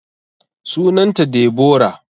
Sunan ta Deborah